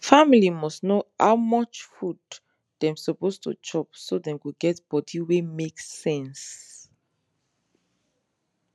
family must know how much food dem suppose to chop so dem go get body wey make sense